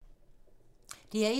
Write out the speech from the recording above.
DR1